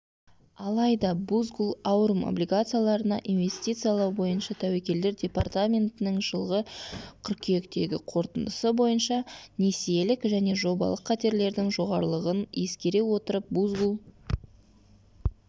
алайда бузгул аурум облигацияларына инвестициялау бойынша тәуекелдер департаментінің жылғы қыркүйектегі қорытындысы бойынша несиелік және жобалық қатерлердің жоғарылығын ескере отырып бузгул